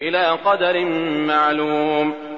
إِلَىٰ قَدَرٍ مَّعْلُومٍ